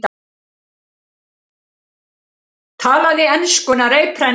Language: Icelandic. Talaði enskuna reiprennandi.